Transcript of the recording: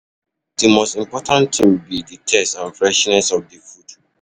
Di most important thing be di taste and freshness of di food.